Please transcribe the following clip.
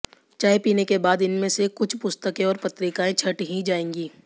चाय पीने के बाद इनमें से कुछ पुस्तकें और पत्रिकाएं छंट ही जाएंगी